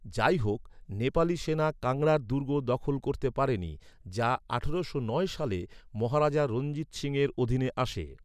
যাইহোক, নেপালি সেনা কাংড়ার দুর্গ দখল করতে পারেনি, যা আঠারোশো নয় সালে মহারাজা রঞ্জিত সিংহের অধীনে আসে।